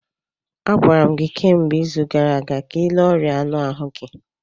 Agwara m gị kemgbe izu gara aga ka ịle ọrịa anụ ahụ gị